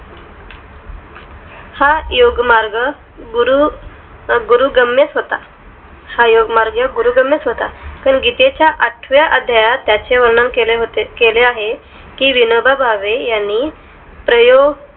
हा योगमार्ग गुरु गुरूगम्यच होता हा योगमार्ग गुरूगम्यच होता पण गीतेचा आठव्या अध्यायात त्याचे वर्णन केले होते केले आहे कि विनोबा भावे ह्यांनी प्रयोग